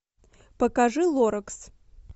покажи лоракс